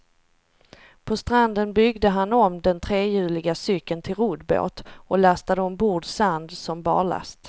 På stranden byggde han om den trehjuliga cykeln till roddbåt och lastade ombord sand som barlast.